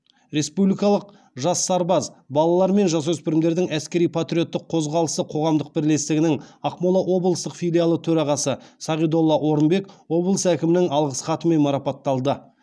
республикалық жас сарбаз балалар мен жасөспірімдердің әскери патриоттық қозғалысы қоғамдық бірлестігінің ақмола облыстық филиалы төрағасы сағидолда орынбек облыс әкімінің алғыс хатымен марапатталды